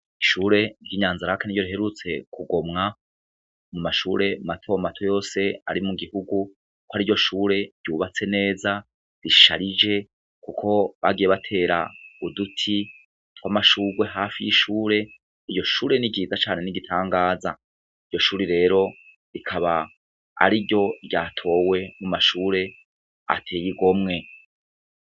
Ishure ry'inyanza raka ni ryo riherutse kugomwa mu mashure matomato yose ari mu gihugu, ko ari ryo shure ryubatse neza risharije, kuko bagiye batera uduti twa amashurwe hafi y'ishure iyo shure nigiza cane n'igitangaza iryo shuri rero ikaba ari ryo ryatowe mu mashure ateye igomwe.